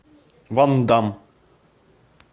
ван дам